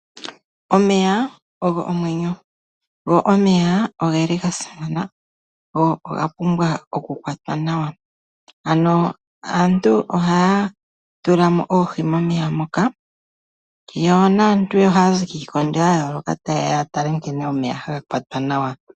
Omeya ogo omwenyo, go oga simana noga pumbwa okukwatwa nawa. Aantu ohaya tula mo oohi momeya moka, yo naantu ohaya zi kiikondo ya yooloka taye ya okutala nkene omeya haga kwatwa nawa.